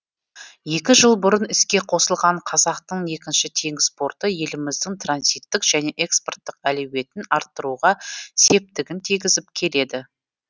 екі жыл бұрын іске қосылған қазақтың екінші теңіз порты еліміздің транзиттік және экспорттық әлеуетін арттыруға септігін тигізіп келеді